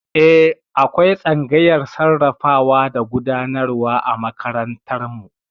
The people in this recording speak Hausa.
Eh, akwai tsangayar sarrafawa da gudanarwa a makarantar mu